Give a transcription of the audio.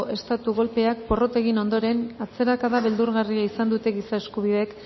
estatu golpeak porrot egin ondoren atzerakada beldurgarria izan dute giza eskubideek